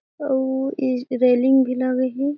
अउ इज रेलिंग भी लगे हे।